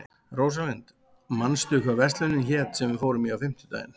Rósalind, manstu hvað verslunin hét sem við fórum í á fimmtudaginn?